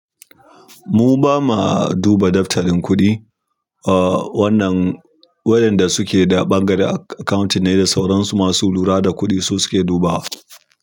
Mu ba ma duba daftarin kuɗi. Wannan wayan da suke da bangaren accounting ne da sauran su masu lura da kuɗi su suke dubawa.